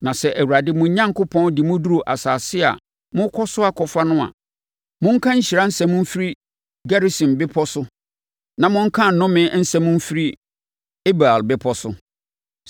Na sɛ Awurade, mo Onyankopɔn, de mo duru asase a morekɔ so akɔfa no a, monka nhyira nsɛm mfiri Gerisim Bepɔ no so na monka nnome nsɛm nso mfiri Ebal Bepɔ so.